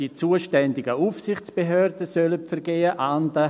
Die zuständigen Aufsichtsbehörden sollen Vergehen ahnden.